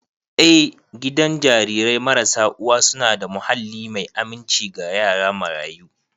Eh, gidan jarirai marasa uwa suna da muhalli mai aminci ga yara marayu.